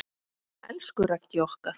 Elsku Raggi okkar.